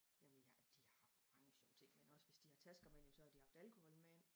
Jamen vi har de har mange sjove ting men også hvis de har tasker med ind jamen så har de haft alkohol med ind